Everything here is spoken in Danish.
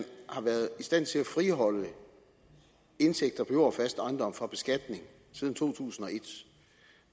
har været i stand til at friholde indtægter på jord og fast ejendom fra beskatning siden to tusind og